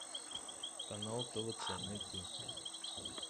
канал твц найти